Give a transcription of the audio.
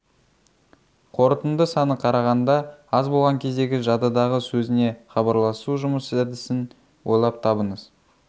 қорытынды саны қарағанда аз болған кездегі жадыдағы сөзіне хабарласу жұмыс әдісін ойлап табыңыз